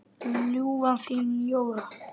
Ljúfan þín, Jóra.